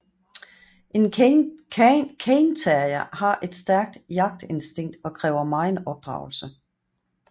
En cairn terrier har et stærkt jagtinstinkt og kræver megen opdragelse